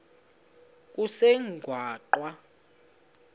kusengwaqa